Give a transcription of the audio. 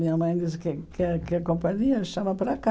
Minha mãe diz que quer quer a companhia chama para cá.